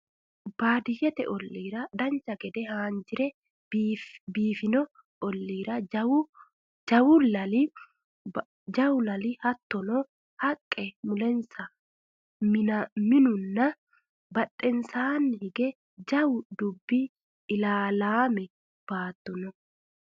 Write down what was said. baadiyyete ollliira dancha gede haanjire biifino olliira jawu lali hattono haqqe mulensa minunna badhensaanni hige jawu dubbinna ilalaame baatto no